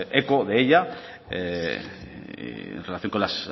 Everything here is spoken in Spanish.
eco de ella en relación con las